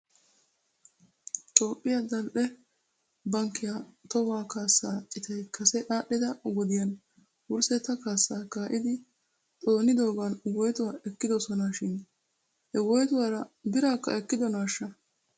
Toophphiyaa zal'e bankkiyaa tohuwaa kaasaa cittay kase aadhdhida wodiyan wurssetta kaasaa kaa'idi xoonidoogan woytuwaa ekkidosona shin he woytuwaara biraakka ekkidonashsha?